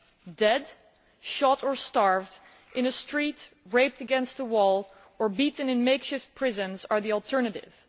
Being dead, shot or starved in a street, raped against a wall or beaten in makeshift prisons those are the alternatives.